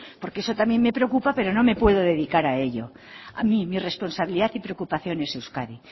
porque eso también me preocupa pero no puedo dedicar a ello mi responsabilidad y preocupación es euskadi